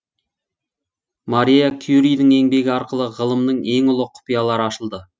мария кюридің еңбегі арқылы ғылымның ең ұлы құпиялары ашылды